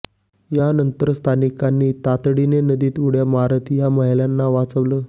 यानंतर स्थानिकांनी तातडीनं नदीत उड्या मारत या महिलांना वाचवलं